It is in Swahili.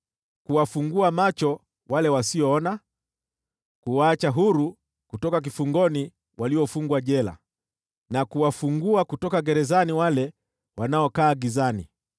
kuwafungua macho wale wasioona, kuwaacha huru kutoka kifungoni waliofungwa jela, na kuwafungua kutoka gerezani wale wanaokaa gizani.